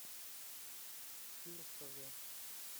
фирсове